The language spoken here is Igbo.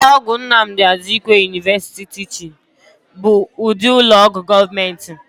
Ụlọ ọgwụ Nnamdi Azikiwe University Teaching bụ ụdị ụlọọgwụ gọọmentị